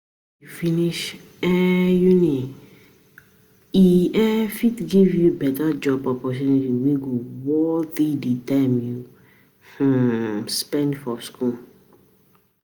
If u finish um uni, e um fit give you beta job opportunity wey go worth di time u um spend for school